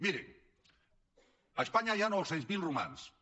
miri a espanya hi ha nou cents miler romanesos